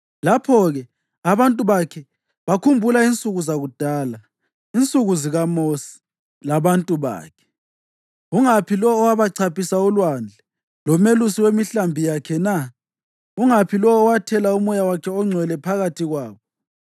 Lapho-ke abantu bakhe bakhumbula insuku zakudala, insuku zikaMosi labantu bakhe, ungaphi lowo owabachaphisa ulwandle, lomelusi wemihlambi yakhe na? Ungaphi lowo owathela uMoya wakhe oNgcwele phakathi kwabo,